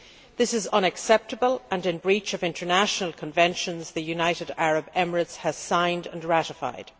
This is unacceptable and in breach of international conventions which the United Arab Emirates has signed and ratified.